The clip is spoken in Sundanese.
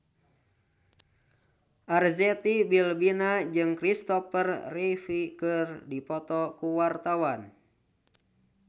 Arzetti Bilbina jeung Christopher Reeve keur dipoto ku wartawan